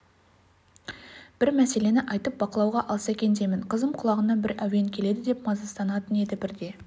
бір мәселені айтып бақылауға алса екен деймін қызым құлағына бір әуен келеді деп мазасызданатын еді бірде